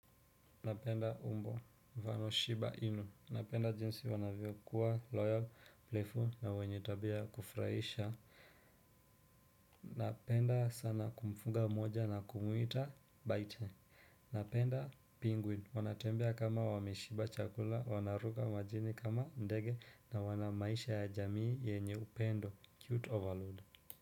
Napenda umbo vano shiba ino. Napenda jinsi wanavyo kuwa loyal, playful na wenye tabia kufraisha. Napenda sana kumfuga moja na kumwita bite. Napenda penguin. Wanatembia kama wameshiba chakula, wanaruka majini kama ndege na wanamaisha ya jamii yenye upendo. Cute overload.